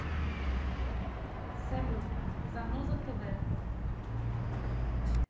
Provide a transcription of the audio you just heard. салют заноза тэ вэ